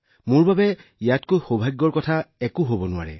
মোৰ বাবে ইয়াতকৈ বেছি ভাগ্যৱান একো হব নোৱাৰে